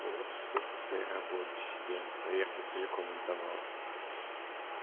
вот и сука своей работе себя наверное целиком отдавал